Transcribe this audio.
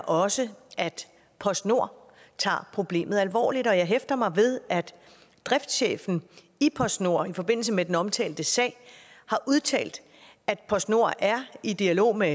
også at postnord tager problemet alvorligt og jeg hæfter mig ved at driftschefen i postnord i forbindelse med den omtalte sag har udtalt at postnord er i dialog med